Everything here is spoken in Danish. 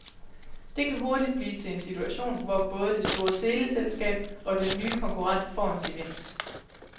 Det kan hurtigt blive til en situation, hvor både det store teleselskab og den nye konkurrent får en gevinst.